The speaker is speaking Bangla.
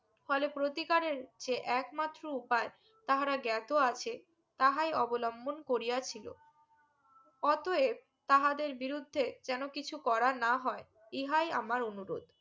ফলে প্রতিকারের যে একমাত্র উপায় তাহারা গেতো আছে তাহাই অবলম্বন করিয়াছিলো অতএব তাহাদের বিরুদ্ধে যেনও কিছু করা না হয় ইহাই আমার অনুরোধ